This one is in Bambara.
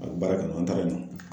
A be baara kɛ yen nɔ, an taara yen nɔ.